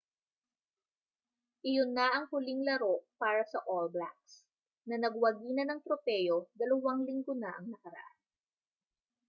iyon na ang huling laro para sa all blacks na nagwagi na ng tropeo dalawang linggo na ang nakaraan